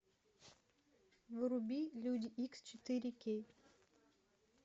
вруби люди икс четыре кей